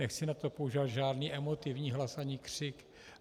Nechci na to používat žádný emotivní hlas ani křik.